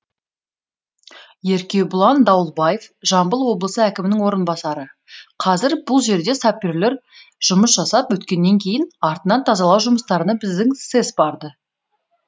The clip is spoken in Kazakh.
еркебұлан дауылбаев жамбыл облысы әкімінің орынбасары қазір бұл жерде саперлер жұмыс жасап өткеннен кейін артынан тазалау жұмыстарына біздің сэс барды